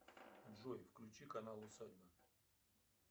джой включи канал усадьба